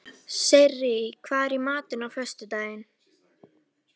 Sirrí, hvað er í matinn á föstudaginn?